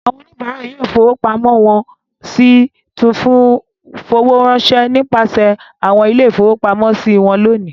Àwọn oníbàáṣòwò yóò fowó pamọ́ wọn a sì tún fowó ránṣẹ́ nípasẹ̀ àwọn ilé-ìfowópamọ́sí wọn lónìí.